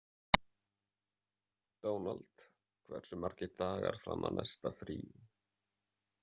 Dónald, hversu margir dagar fram að næsta fríi?